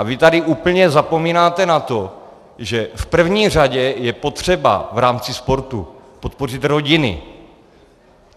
A vy tady úplně zapomínáte na to, že v první řadě je potřeba v rámci sportu podpořit rodiny.